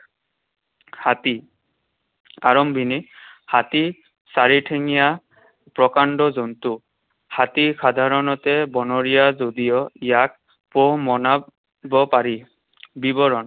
হাতী। আৰম্ভণি। হাতী চাৰিঠেঙীয়া প্ৰকাণ্ড জন্তু। হাতী সাধাৰণতে বনৰীয়া যদিও ইয়াক পোহ মনাব পাৰি। বিৱৰণ।